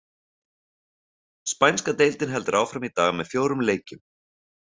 Spænska deildin heldur áfram í dag með fjórum leikjum.